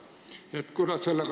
Kuidas sellega lood on?